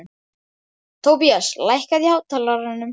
Tobías, lækkaðu í hátalaranum.